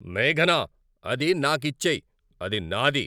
మేఘనా, అది నాకిచ్చేయ్. అది నాది!